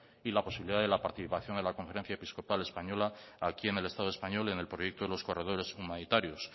y la posibilidad de la participación de la conferencia episcopal española aquí en el estado español y en el proyecto de los corredores humanitarios